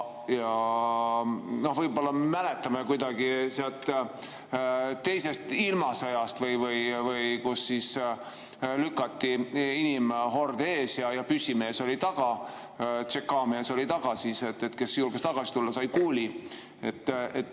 Võib-olla me mäletame teisest ilmasõjast, kui lükati inimhorde ees ja püssimees oli taga, tšekaa mees oli taga, ja kes julges tagasi tulla, sai kuuli.